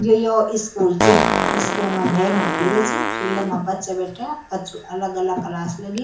य यौ स्कूल चि स्कूल मा भैर मा फिल्ड च फिल्ड मा बच्चा बैठ्या अच्छु अलग अलग कलास लगीं।